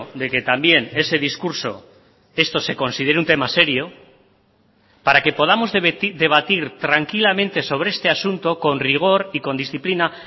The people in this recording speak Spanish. de que también ese discurso esto se considere un tema serio para que podamos debatir tranquilamente sobre este asunto con rigor y con disciplina